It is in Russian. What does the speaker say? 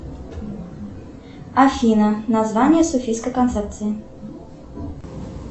афина название софийской концепции